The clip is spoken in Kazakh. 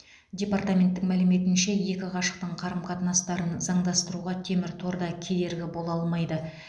департаменттің мәліметінше екі ғашықтың қарым қатынастарын заңдастыруға темір тор да кедергі бола алмайды